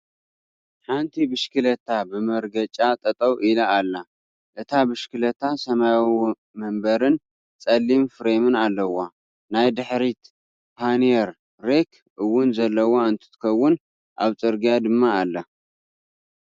ሓንቲ ብሽክለታ ብመርገጫ ጠጠው ኢላ ኣላ። እታ ብሽክለታ ሰማያዊ መንበርን ጸሊም ፍሬምን ኣለዋ። ናይ ድሕሪት ፓኒየር ረክ እውን ዘለዋ እንትትከውን ኣብ ፅርግያ ድማ ኣላ።